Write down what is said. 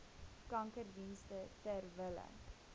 kankerdienste ter wille